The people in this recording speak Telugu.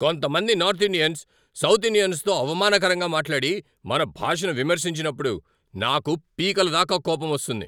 కొంతమంది నార్త్ ఇండియన్స్ సౌత్ ఇండియన్సుతో అవమానకరంగా మాట్లాడి, మన భాషను విమర్శించినప్పుడు నాకు పీకలదాకా కోపంమొస్తుంది.